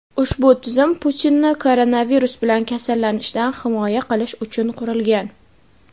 Ushbu tizim Putinni koronavirus bilan kasallanishdan himoya qilish uchun qurilgan.